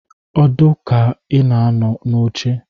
Ọdụ ka a na-anọ n'oche